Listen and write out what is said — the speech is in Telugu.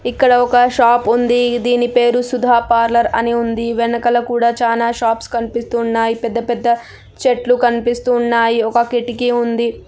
ఇక్కడ ఒక షాప్ ఉంది. దీని పేరు సుధా పార్లర్ అని ఉంది. వెనక కూడా చాలా షాప్స్ కనిపిస్తున్నాయి. పెద్ద పెద్ద చెట్లు కనిపిస్తూ ఉన్నాయి. ఒక కిటికీ ఉంది.